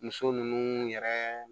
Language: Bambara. Muso ninnu yɛrɛ